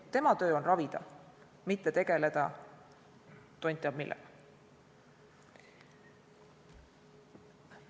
Tema töö on ravida, mitte tegeleda tont teab millega.